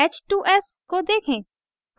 h